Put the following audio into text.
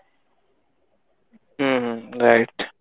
ହୁଁ ହୁଁ right